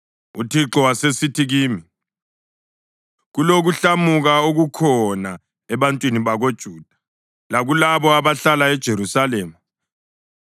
UThixo wasesithi kimi, “Kulokuhlamuka okukhona ebantwini bakoJuda lakulabo abahlala eJerusalema.